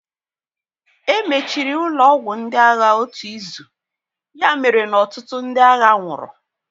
Emechiri ụlọ ọgwụ ndị agha otu izu, ya mere na ọtụtụ ndị agha nwụrụ